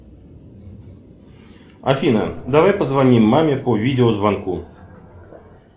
афина давай позвоним маме по видеозвонку